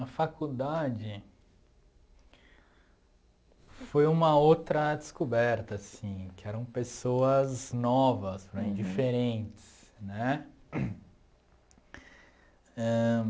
A faculdade foi uma outra descoberta, assim, que eram pessoas novas para mim, diferentes, né? Ãh